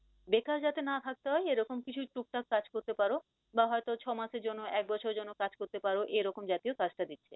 বেকার যাতে না থাকতে হয় এরকম কিছু টুকটাক কাজ করতে পারো, বা হয়তো ছ মাসের জন্য এক বছরের জন্য কাজ করতে পারো এরকম জাতীয় কাজটা দিক